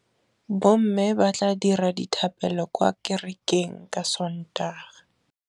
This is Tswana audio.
Bommê ba tla dira dithapêlô kwa kerekeng ka Sontaga.